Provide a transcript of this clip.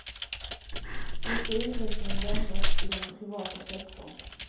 Nu ska utvecklingen vändas i den privata sektorn.